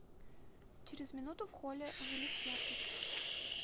через минуту в холле увеличь яркость